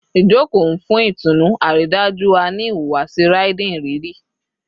Ijoko nfun itunu, aridaju a ni ihuwasi Riding iriri